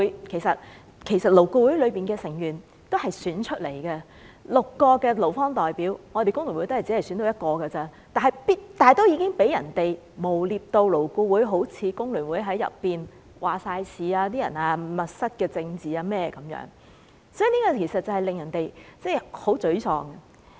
其實，勞顧會的成員也是經選舉產生，在6個勞方代表席位中，工聯會只佔一席，但已飽受誣衊，彷彿工聯會全面控制勞顧會，又引來"密室政治"等指控，令人十分沮喪。